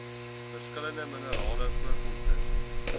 verskillende minerale voorkomste